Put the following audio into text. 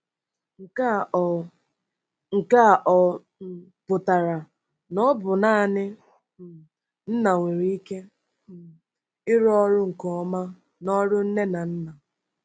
Nke a ọ̀ Nke a ọ̀ um pụtara na ọ bụ naanị um nna nwere ike um ịrụ ọrụ nke ọma n'ọrụ nne na nna?